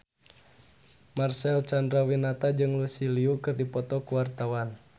Marcel Chandrawinata jeung Lucy Liu keur dipoto ku wartawan